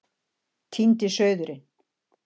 Týndi sauðurinn